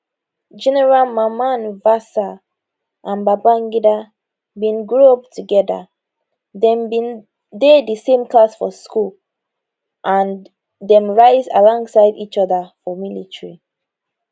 general mamman vatsa and babangida bin grow up togeda dem bin dey di same class for school and dem rise alongside each oda for military